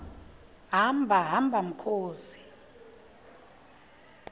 hamba hamba mkhozi